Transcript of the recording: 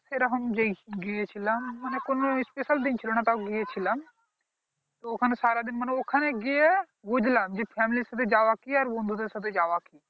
এই রকম যেই গিয়েছিলাম মানে কোনো special দিন ছিল না তাও গিয়েছিলাম তো ওখানে সারা দিন মানে ওখানে গিয়ে বুঝলাম যে family র সাথে যাওয়া কি আর বন্ধু দের সাথে যাওয়া কি